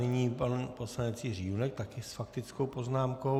Nyní pan poslanec Jiří Junek, také s faktickou poznámkou.